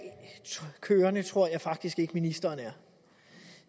kørende tror jeg faktisk ikke ministeren er